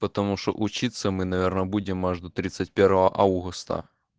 потому что учиться мы наверное будем аж до тридцать первого августа